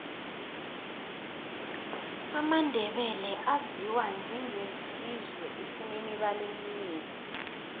amandebele aziwa njenge sizwe esinemibala emihle